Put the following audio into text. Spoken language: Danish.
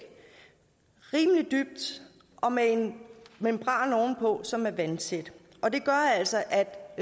rimelig dyb og med en membran oven på som er vandtæt og det gør altså at